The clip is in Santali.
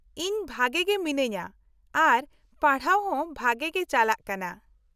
-ᱤᱧ ᱵᱷᱟᱜᱮ ᱜᱮ ᱢᱤᱱᱟᱹᱧᱟ ᱟᱨ ᱯᱟᱲᱦᱟᱣ ᱦᱚᱸ ᱵᱷᱟᱜᱮ ᱜᱮ ᱪᱟᱞᱟᱜ ᱠᱟᱱᱟ ᱾